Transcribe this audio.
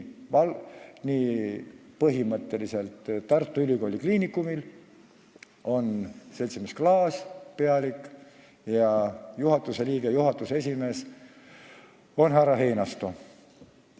Nii, põhimõtteliselt on Tartu Ülikooli Kliinikumi pealik ja nõukogu esimees seltsimees Klaas, juhatuse liige on härra Einasto.